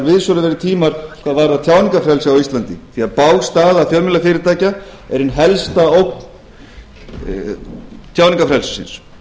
hvað varðar tjáningarfrelsi á íslandi því bág staða fjölmiðlafyrirtækja er ein helsta ógn tjáningarfrelsisins